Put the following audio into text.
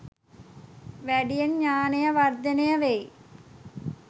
වැඩියෙන් ඥානය වර්ධනය වෙයි